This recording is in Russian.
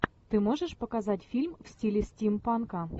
ты можешь показать фильм в стиле стимпанка